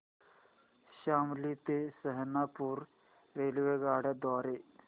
शामली ते सहारनपुर रेल्वेगाड्यां द्वारे